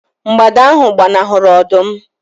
mgbada ahu gbanahụrụ ọdụm